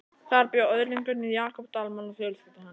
Þar bjó öðlingurinn Jakob Dalmann og fjölskylda hans.